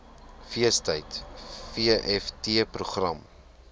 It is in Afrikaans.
feestyd vft program